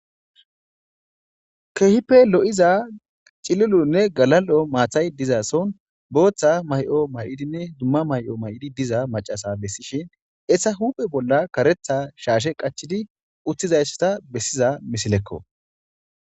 Keehippe lo'iza cilulunne galal'o maathay dizason booththa may'o may'odinne dumma may'o may'idi diza macasa bessishin essa huphe bolla karetha shaashe qachidi uttizayssata bessiza misilekko.